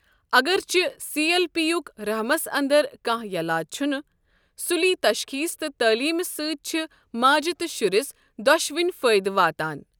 اگرچہِ C L P یک رحمس اندر كانہہ یلاج چھنہٕ، سُلی تشخیٖص تہٕ تٔعلیٖمہِ سۭتۍ چھ ماجہِ تہٕ شُرِس دۄشوٕنی فٲیدٕ واتان ۔